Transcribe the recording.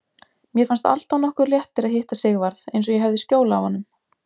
Mér fannst alltaf nokkur léttir að hitta Sigvarð, eins og ég hefði skjól af honum.